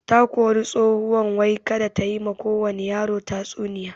Takori tsohuwan wai kada tayi ma kowani yaro tatsuniya